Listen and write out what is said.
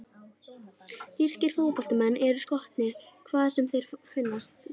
Þýskir flóttamenn eru skotnir, hvar sem þeir finnast.